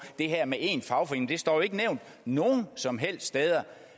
det her med én fagforening men det står jo ikke nævnt nogen som helst steder